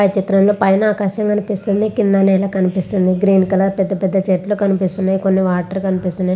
పై చిత్రం లో పైన ఆకాశం కనిపిస్తుంది. కింద నెల కనిపిస్తుంది. గ్రీన్ కలర్ చెట్లు కనిపిస్తున్నాయ్. కొన్ని వాటర్ కనిపిస్తున్నాయ్.